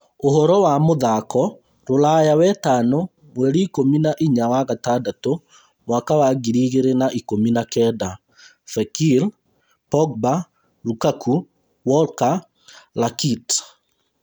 Ũhoro wa mũthako ruraya wetano mweri ikũmi na inya wa-gatandatũ mwaka wa Ngiri igĩrĩ na ikũmi na kenda: Fekir, Pogba, Lukaku, Walker, Rakitic